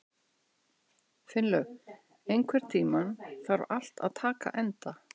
Finnlaug, einhvern tímann þarf allt að taka enda.